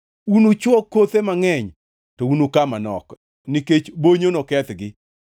Unuchwo kothe mangʼeny to unuka manok, nikech bonyo nokethgi.